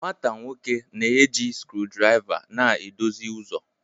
nwata nwoke na-eji screwdriver na-edozi ụzọ